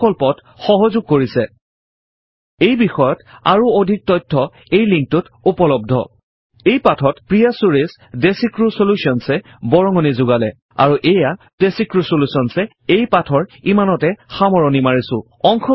এই প্ৰকল্পত সহযোগ কৰিছেhttpspoken tutorialorg এই বিষয়ত আৰু অধিক তথ্য এই লিংকত উপলব্ধhttpspoken tutorialorgNMEICT Intro এই পাঠত প্ৰিয়া চুৰেশ ডেচিক্ৰিউ চলিউশ্যনছ চেন্নাই এ বৰঙনি যোগালে আৰু এইয়া ডেচিক্ৰিউ চলিউশ্যনছ এই পাঠৰ ইমানতে সামৰণি মাৰিছো